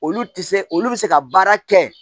Olu ti se olu bi se ka baara kɛ